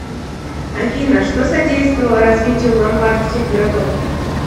афина что содействовало развитию ломбардских городов